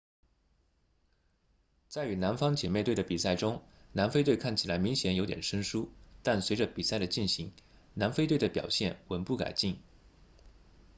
在与南方姐妹队的比赛中南非队看起来明显有点生疏但随着比赛的进行南非队的表现稳步改进